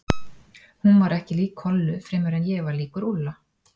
Hún var ekki lík Kollu fremur en ég var líkur Úlla.